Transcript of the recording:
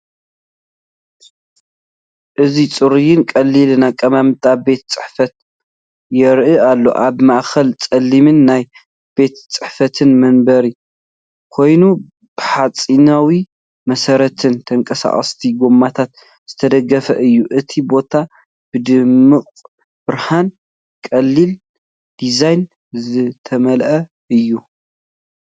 እዚ ጽሩይን ቀሊልን ኣቀማምጣ ቤት ጽሕፈት ይረአ ኣሎ። ኣብ ማእከል ጸሊም ናይ ቤት ጽሕፈት መንበር ኮይኑ፡ ብሓጺናዊ መሰረትን ተንቀሳቐስቲ ጎማታትን ዝተደገፈ እዩ። እቲ ቦታ ብድሙቕ ብርሃንን ቀሊል ዲዛይንን ዝተመልአ እዩ።